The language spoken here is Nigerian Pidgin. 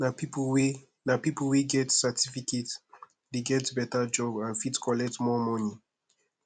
nah people wey nah people wey get certificate dey get beta job and fit collect more money